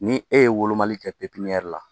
Ni e ye wolomali kɛ la